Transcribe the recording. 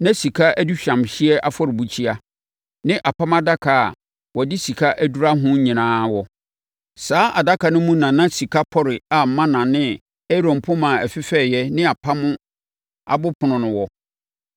na sika aduhwamhyeɛ afɔrebukyia ne Apam Adaka a wɔde sika adura ho nyinaa wɔ. Saa adaka no mu na na sika pɔre a mana ne Aaron poma a ɛfefɛeɛ ne apam abopono no wɔ.